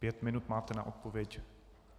Pět minut máte na odpověď.